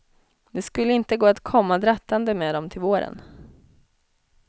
Det skulle inte gå att komma drattande med dem till våren.